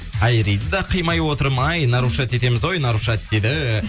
айриді да қимай отырмын ай нарушать етеміз ау нарушать дейді